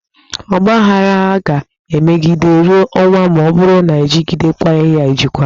Ọgbaaghara ga-emegide ruo ọnwụ ma ọ bụrụ na-ejikwaghị ya ejikwa.